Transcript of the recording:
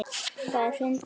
Það er fyndið.